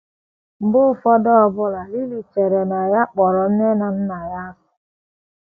Mgbe ụfọdụ, ọbụna Lily chere na ya kpọrọ nne na nna ya asị.